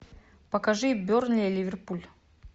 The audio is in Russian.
покажи бернли ливерпуль